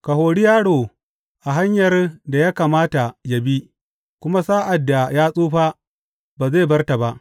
Ka hori yaro a hanyar da ya kamata yă bi, kuma sa’ad da ya tsufa ba zai bar ta ba.